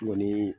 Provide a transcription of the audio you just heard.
Kɔni